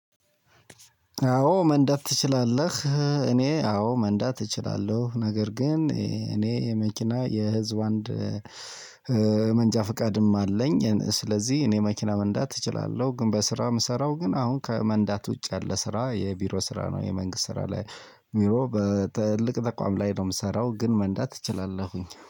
አዎ መንዳት ትችላለህ? እኔ አዎ መንዳት እችላለሁ ነገር ግን እኔ የመኪና የህዝብ አንድ መንጃ ፍቃድም አለኝ። ስለዚህ እኔ መኪና መንዳት እችላለሁ። ግን በስራ የምሰራው ግን አሁን ከመንዳት ውጭ ያለ ስራ የቢሮ ስራ ነው። የመንግስት ስራ ላይ ቢሮ በትልቅ ተቋም ላይ ነው የምሰራው ግን መንዳት እችላለሁኝ